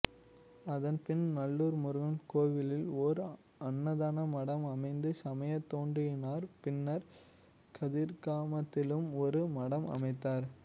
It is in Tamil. அதன்பின் நல்லூர் முருகன் கோவிலில் ஓர் அன்னதான மடம் அமைத்து சமையத் தொண்டாற்றினார் பின்னர் கதிர்காமத்திலும் ஒரு மடம் அமைத்தார்